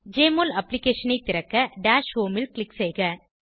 JMOL அப்ளிகேஷனை திறக்க dash homeல் க்ளிக் செய்க